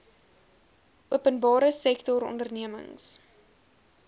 openbare sektor ondernemings